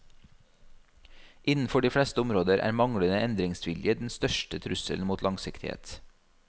Innenfor de fleste områder er manglende endringsvilje den største trusselen mot langsiktighet.